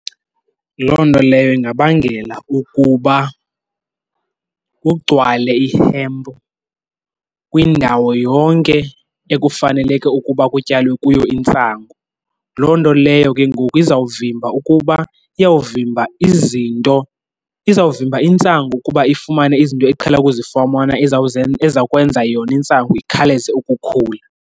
Loo nto leyo ingabangela ukuba kugcwale ihempu kwindawo yonke ekufaneleke ukuba kutyalwe kuyo intsangu. Loo nto leyo ke ngoku izawuvimba ukuba, iyawuvimba izinto, izawuvimba intsangu ukuba ifumane izinto eqhela ukuzifumana ezawukwenza yona intsangu ikhaleze ukukhula.